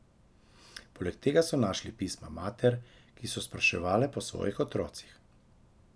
Poleg tega so našli pisma mater, ki so spraševale po svojih otrocih.